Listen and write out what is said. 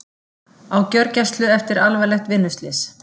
Á gjörgæslu eftir alvarlegt vinnuslys